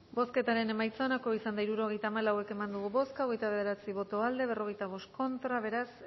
bozketaren emaitza onako izan da hirurogeita hamalau eman dugu bozka hogeita bederatzi boto aldekoa cuarenta y cinco contra beraz